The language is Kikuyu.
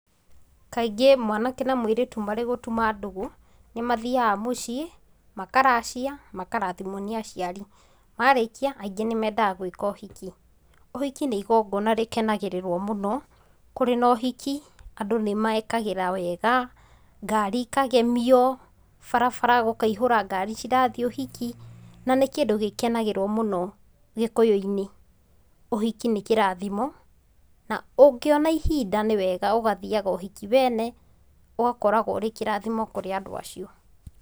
Kaingĩ mwanake na mũirĩtu marĩ gũtũma ndũgũ, nĩmathiaga mũciĩ, makaracia, makarathimwo nĩ aciari, marĩkia, aingĩ nĩmendaga gwĩka ũhiki. Ũhiki nĩ igongona rĩkenagĩrĩrwo mũno kũrĩ na ũhiki andũ nĩmekĩraga wega, ngari ikagemio, barabara gũkaihũra ngari cirathii ũhiki, na nĩ kĩndũ gĩkenagĩrĩrĩrwo mũno gĩkũyũinĩ. Ũhiki nĩ kĩrathimo, na ũngĩona ihinda nĩ wega ũgathiaga ũhiki wene, ũgakorwo ũrĩ kĩrathimo kuri andũ acio.